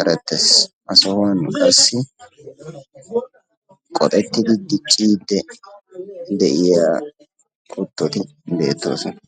erettes. Ha sohuwan qassi qoxettiddi dicciide de'iya kuttoyi beettoosona.